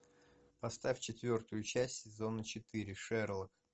поставь четвертую часть сезона четыре шерлок